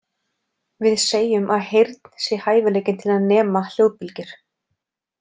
Við segjum að heyrn sé hæfileikinn til að nema hljóðbylgjur.